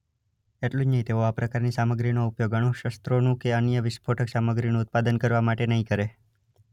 એટલું જ નહીં તેઓ આ પ્રકારની સામગ્રીનો ઉપયોગ અણુશસ્ત્રોનું કે અન્ય અણુવિસ્ફોટક સામગ્રીનું ઉત્પાદન કરવા માટે નહીં કરે.